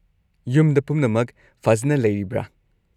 -ꯌꯨꯝꯗ ꯄꯨꯝꯅꯃꯛ ꯐꯖꯅ ꯂꯩꯔꯤꯕ꯭ꯔꯥ?